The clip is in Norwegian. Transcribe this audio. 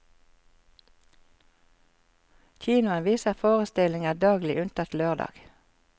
Kinoen viser forestillinger daglig unntatt lørdag.